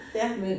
Ja